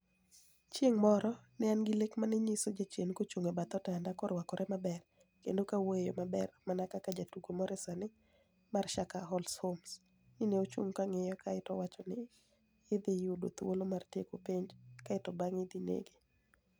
Chienig ' moro, ni e ani gi lek ma ni e niyiso jachieni kochunig ' e bath otanida, korwakore maber, kenido kowuoyo e yo maber mania kaka jatugo moro e sini ema mar Sherlock Holmes. ni e ochunig ' kaniyo kae to owachonia nii ni e idhi yud thuolo mar tieko penij, kae to banig'e idhi ni ege.